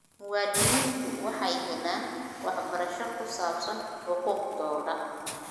Muwaadiniintu waxay helaan waxbarasho ku saabsan xuquuqdooda.